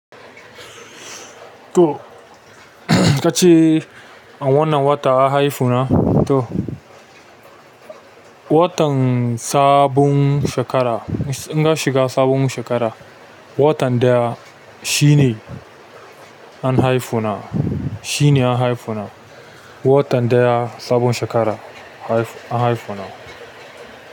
Toh ka ce a wannan wata an haifuna toh watan sabon shekara in an shiga sabon shekara, watan ɗaya shi ne an haifuna shine an haifu na. Watan ɗaya sabon shekara haif-- an haifu na.